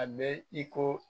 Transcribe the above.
A bɛ i ko